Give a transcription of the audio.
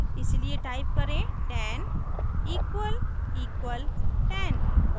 इसलिए टाइप करें 10 ==10